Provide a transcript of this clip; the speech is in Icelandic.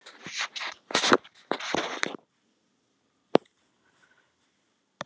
Brosti bara og fann um leið svo notalega tilfinningu að ég viknaði.